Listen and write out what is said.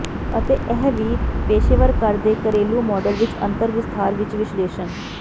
ਅਤੇ ਇਹ ਵੀ ਪੇਸ਼ੇਵਰ ਘਰ ਦੇ ਘਰੇਲੂ ਮਾਡਲ ਵਿੱਚ ਅੰਤਰ ਵਿਸਥਾਰ ਵਿੱਚ ਵਿਸ਼ਲੇਸ਼ਣ